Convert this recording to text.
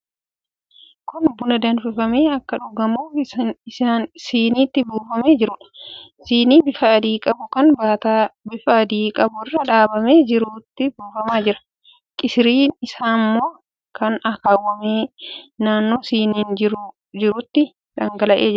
Kun buna danfifamee akka dhugamuuf siniitti buufamaa jiruudha. Sinii bifa adii qabu kan baataa bifa adii qabu irra dhaabamee jirutti buufamaa jira. Qisiriin isaa immoo kan akaawwame naannoo siniin kun jirutti dhangala'ee jira.